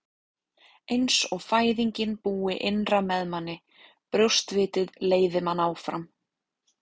Eins og fæðingin búi innra með manni, brjóstvitið leiði mann áfram.